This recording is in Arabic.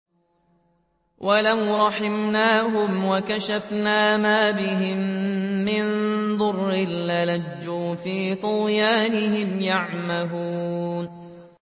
۞ وَلَوْ رَحِمْنَاهُمْ وَكَشَفْنَا مَا بِهِم مِّن ضُرٍّ لَّلَجُّوا فِي طُغْيَانِهِمْ يَعْمَهُونَ